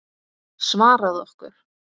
Svaraðu okkur.